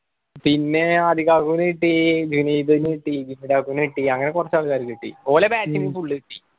പിന്നെ അധികം ആൾക്കും കിട്ടി വിനീതിന് കിട്ടി നു കിട്ടി അങ്ങനെ കുറച്ചു ആൾക്കാർക്ക് കിട്ടി ഓലെ batch നു full കിട്ടി